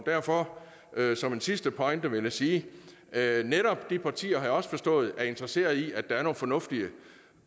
derfor vil jeg som en sidste pointe sige at netop de partier har jeg også forstået er interesseret i at der er nogle fornuftige